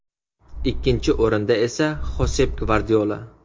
Ikkinchi o‘rinda esa Xosep Gvardiola.